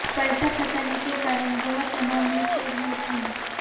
पैसा फंसने के कारण वह तनाव में चल रहे थे